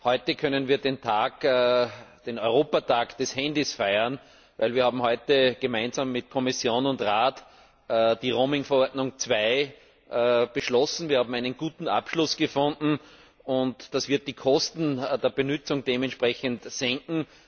Heute können wir den Europäischen Tag des Handys feiern, denn wir haben heute gemeinsam mit Kommission und Rat die Roaming Verordnung II beschlossen. Wir haben einen guten Abschluss gefunden, und das wird die Kosten der Benutzung dementsprechend senken.